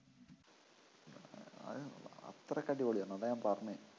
ആണ് അത്രയ്ക്ക് അടിപൊളിയാണ് അതാ ഞാൻ പറഞ്ഞേ